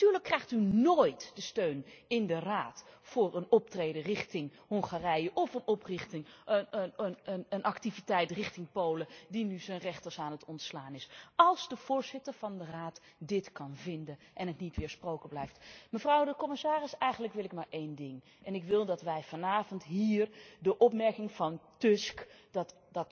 Natuurlijk krijgt u nooit de steun in de Raad voor een optreden richting Hongarije of voor een activiteit richting Polen, dat nu zijn rechters aan het ontslaan is, als de voorzitter van de Raad dit kan vinden en het niet weersproken blijft. Mevrouw de commissaris, eigenlijk wil ik maar één ding ik wil dat wij vanavond hier de opmerking van Tusk dat